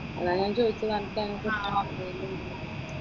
അതാ ഞാൻ ചോദിച്ചത് അനക് അതിനെക്കുറിച്ചു അറിയുമോ എന്നുള്ളത്.